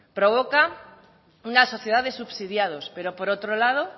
provoca una sociedad de subsidiados pero por otro lado